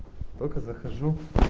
только захожу